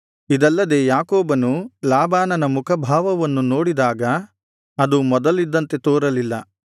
ಇದಲ್ಲದೆ ಯಾಕೋಬನು ಲಾಬಾನನ ಮುಖಭಾವವನ್ನು ನೋಡಿದಾಗ ಅದು ಮೊದಲಿದ್ದಂತೆ ತೋರಲಿಲ್ಲ